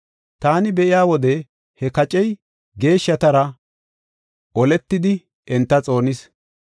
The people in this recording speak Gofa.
Taani be7iya wode he kacey geeshshatara oletidi, enta xoonis.